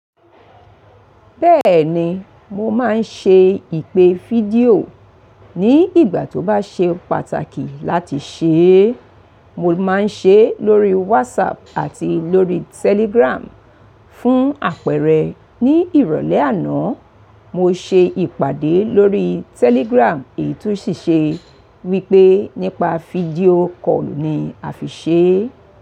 Bẹ́ẹ̀ni, mo máa ń ṣe ìpè fídíò, ní ìgbà tó bá ṣe pàtàkì láti ṣe é. Mo máa ń ṣe lórí WhatsApp àti lórí Telegram. Fún àpẹẹrẹ, ní ìrọ̀lẹ́ àná, mo ṣe ìpàdé lórí Telegram èyí tó ṣì ṣe wípé nípa fídíò call ni a fi ṣe é.